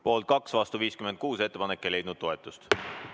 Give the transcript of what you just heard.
Poolt oli 2 ja vastu 56, ettepanek ei leidnud toetust.